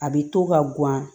A bɛ to ka guwan